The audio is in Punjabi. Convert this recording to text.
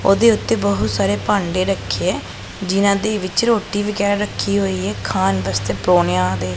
ਓਹਦੇ ਓੱਤੇ ਬਹੁਤ ਸਾਰੇ ਭਾਂਡੇ ਰੱਖੇ ਹੈਂ ਜਿਹਨਾਂ ਦੇ ਵਿੱਚ ਰੋਟੀ ਵਗੈਰਾ ਰੱਖੀ ਹੋਈ ਹੈ ਖਾਣ ਵਾਸਤੇ ਪਰੌਨਿਆਂ ਦੇ।